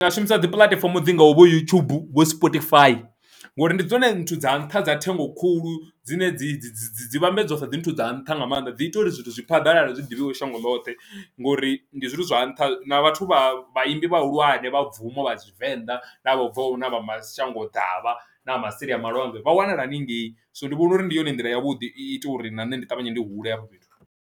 Ndi nga shumisa dzi puḽatifomo dzi ngau vho youtube vho sportyfi ngori ndi dzone nthu dza nṱha dza thengo khulu dzine dzi dzi dzi vhambedzwa sa dzi nthu dza nṱha nga maanḓa dzi ita uri zwithu zwi phaḓalale zwiḓivhiwe shango ḽoṱhe, ngori ndi zwone zwithu zwa nṱha vhathu vha vhaimbi vhahulwane vha bvumo vha tshivenḓa na vho bvaho na vha mashango ḓavha na vha maseli a malwanzhe vha wanala haningei so ndi vhona uri ndi yone nḓila ya vhuḓi i ita uri na nṋe ndi ṱavhanye ndi hule hafho fhethu.